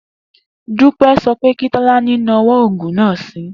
Dúpé̩ so̩ wí pé kí Tó̩lání nawó̩ ògùn náà si